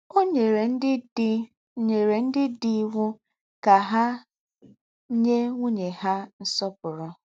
Ó nyèrè ndí́ dì nyèrè ndí́ dì íwụ́ kà há nyẹ́ nwụ́nyẹ̀ há nsọ̀pụ̀rụ̀.